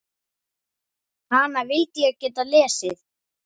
Hana vildi ég geta lesið.